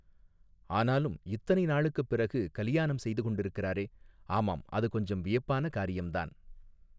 ஆனாலும் இத்தனை நாளைக்குப் பிறகு கலியாணம் செய்து கொண்டிருக்கிறாரே ஆமாம் அது கொஞ்சம் வியப்பான காரியம்தான்.